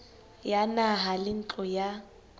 ya naha le ntlo ya